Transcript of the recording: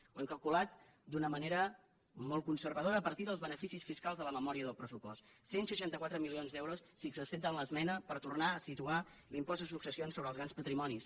ho hem calculat d’una manera molt conservadora a partir dels beneficis fiscals de la memòria del pressupost cent i seixanta quatre milions d’euros si ens accepten l’esmena per tornar a situar l’impost de successions sobre els grans patrimonis